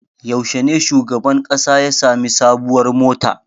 Yaushe ne shugaban ƙasa ya sami sabuwar mota?